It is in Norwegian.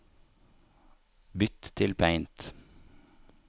Bytt til Paint